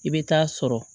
I bɛ taa sɔrɔ